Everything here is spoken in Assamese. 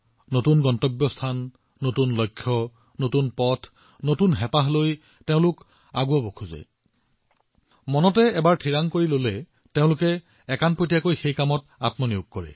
উদ্দেশ্য নতুন লক্ষ্যও নতুন পথো নতুন আৰু আকাংক্ষাও নতুন এবাৰ সংকল্প লোৱাৰ পিছত যুৱচামে দিনৰাতিয়ে ইয়াৰ সৈতে জড়িত হৈ পৰে